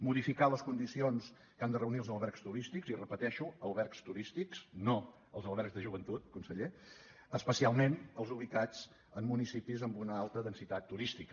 modificar les condicions que han de reunir els albergs turístics i ho repeteixo albergs turístics no els albergs de joventut conseller especialment els ubicats en municipis amb una alta densitat turística